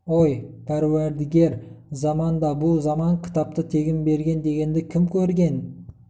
ой пәруәрдігер заман да бұ заман кітапты тегін берген дегенді кім көрген